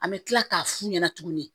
An bɛ tila k'a f'u ɲɛna tuguni